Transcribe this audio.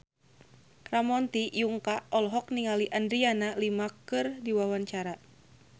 Ramon T. Yungka olohok ningali Adriana Lima keur diwawancara